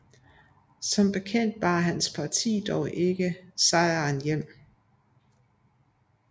Som bekendt bar hans parti dog ikke sejren hjem